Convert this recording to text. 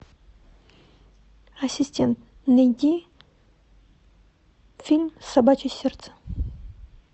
ассистент найди фильм собачье сердце